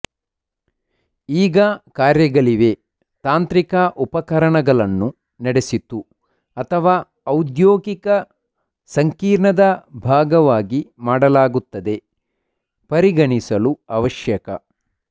ಈಗ ಕಾರ್ಯಗಳಿವೆ ತಾಂತ್ರಿಕ ಉಪಕರಣಗಳನ್ನು ನಡೆಸಿತು ಅಥವಾ ಔದ್ಯೋಗಿಕ ಸಂಕೀರ್ಣದ ಭಾಗವಾಗಿ ಮಾಡಲಾಗುತ್ತದೆ ಪರಿಗಣಿಸಲು ಅವಶ್ಯಕ